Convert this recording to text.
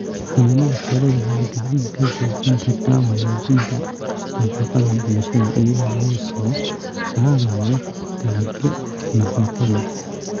Xanaanada xooluhu waxay gacan ka gaysan kartaa wanaajinta nafaqada bulshada iyadoo la soo saarayo dalagyo nafaqo leh.